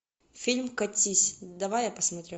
фильм катись давай я посмотрю